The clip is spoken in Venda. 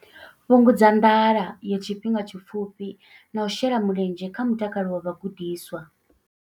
Fhungudza nḓala ya tshifhinga tshipfufhi na u shela mulenzhe kha mutakalo wa vhagudiswa.